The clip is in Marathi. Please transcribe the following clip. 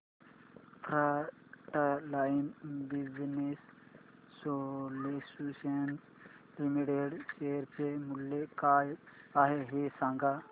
frontline Business Solutions Limited share चे मूल्य काय आहे हे सांगा